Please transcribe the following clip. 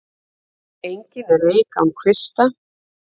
Engin er eik án kvista.